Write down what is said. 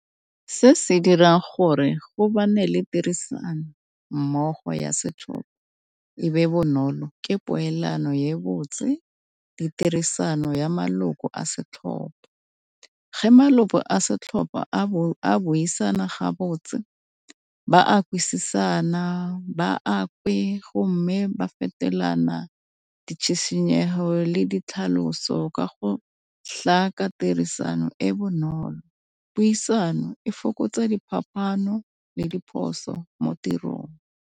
Se se dirang gore go le tirisanommogo ya setlhopha e be bonolo ke poelano ye botse, ditirisano ya maloko a setlhopha. Ge maloko a setlhopha a buisana ga botse ba kwešišana ba go mme ba fetelana ditshetshinyego le ditlhaloso ka go tirisano e bonolo. Puisano e fokotsa diphapano le diphoso mo tirong.